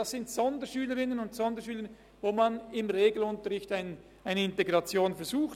Bei diesen Sonderschülerinnen und Sonderschülern versucht man eine Integration in den Regelunterricht.